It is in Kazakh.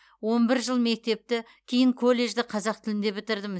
он бір жыл мектепті кейін колледжді қазақ тілінде бітірдім